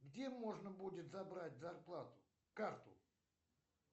где можно будет забрать зарплату карту